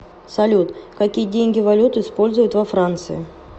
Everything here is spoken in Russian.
салют какие деньги валюту используют во франции